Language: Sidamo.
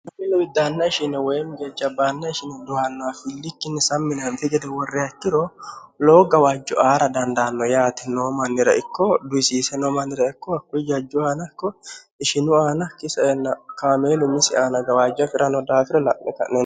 haellu widdaanna ishine woyim gejabbaanna ishine dohannoha fillikkinni saminaanfi gede worre hachiro lowo gawaajjo aara dandaanno yaati noo mannira ikko duisiise no mannira ikko hakkul jajju aanakko ishinu aana kisanna kaameelu misi aana gawaajjo hafi'rano daafira la'me ka'nen